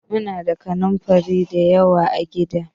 Muna da kanunfari da yawa a gida.